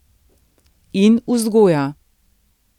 In vzgoja.